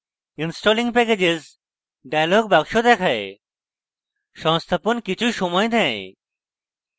installing packages dialog box দেখায় সংস্থাপন কিছু সময় নেয়